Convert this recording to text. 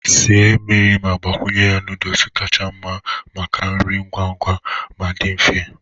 Sie mmiri ma gbakwunye noodles kacha mma maka nri ngwa ngwa ma dị mfe.